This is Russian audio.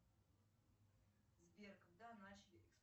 сбер когда начали